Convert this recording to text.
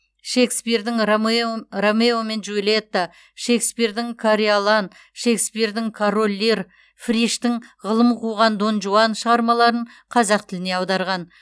шекспирдің ромео мен джульетта шекспирдің кориолан шекспирдің король лир фриштің ғылым қуған дон жуан шығармаларын қазақ тіліне аударған